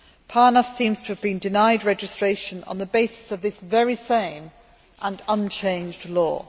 PARNAS seems to have been denied registration on the basis of this very same and unchanged law.